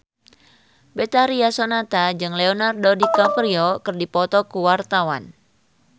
Betharia Sonata jeung Leonardo DiCaprio keur dipoto ku wartawan